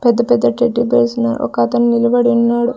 పెద్ద పెద్ద teddy bears ను ఒక అతను నిలబడున్నాడు.